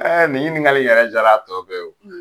Ɛɛ nin ɲinikali in yɛrɛ jara a tɔ bɛɛ ye